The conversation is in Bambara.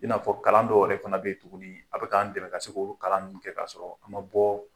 I n'afɔ kalan dɔw yɛrɛ fana bɛ ye tuguni a bɛ k'an dɛmɛ ka olu kalan ninnu kɛ ka sɔrɔ an man bɔ